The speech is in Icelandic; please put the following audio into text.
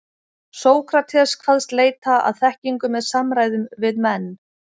Sókrates kvaðst leita að þekkingu með samræðum við menn.